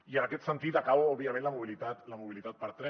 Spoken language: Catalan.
i en aquest sentit i acabo òbviament la mobilitat per tren